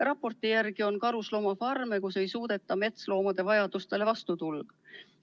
Raporti järgi on karusloomafarme, kus ei suudeta metsloomade vajadusi rahuldada.